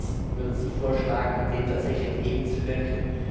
Was würden Sie vorschlagen, um dem tatsächlich entgegenzuwirken?